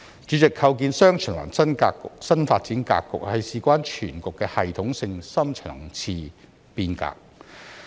主席，構建"雙循環"新發展格局是事關全局的系統性深層次變革。